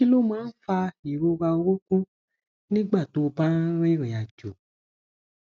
kí ló máa ń fa ìrora orunkun nígbà tó o bá ń rìnrìn àjò